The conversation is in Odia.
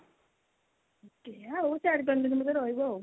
କେଜାଣି ଆଉ ଚାରି ପାଞ୍ଚ ଦିନ ବୋଧେ ରହିବେ ଆଉ।